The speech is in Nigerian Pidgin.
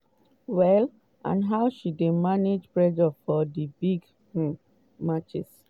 well and how she dey manage pressure for big um matches.